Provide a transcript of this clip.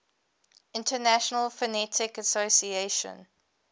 international phonetic association